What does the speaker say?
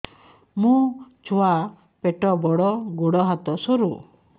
ମୋ ଛୁଆ ପେଟ ବଡ଼ ଗୋଡ଼ ହାତ ସରୁ